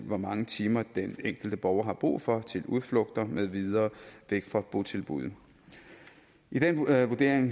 hvor mange timer den enkelte borger har brug for til udflugter med videre væk fra botilbuddet i den vurdering